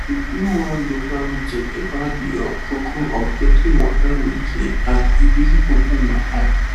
we do one local meeting about the um koko of getting water weh clean and e really open my eye